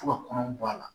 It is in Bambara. Fo ka kɔnɔw bɔ a la